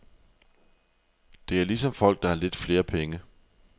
Det er ligesom folk, der har lidt flere penge.